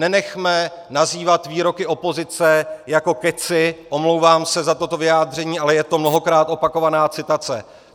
Nenechme nazývat výroky opozice jako kecy - omlouvám se za toto vyjádření, ale je to mnohokrát opakovaná citace.